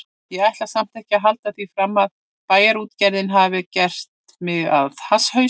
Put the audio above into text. Ég ætla samt ekki að halda því fram að Bæjarútgerðin hafi gert mig að hasshaus.